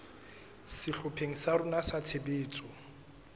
sehlopheng sa rona sa tshebetso